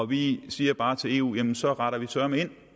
vi siger bare til eu jamen så retter vi søreme ind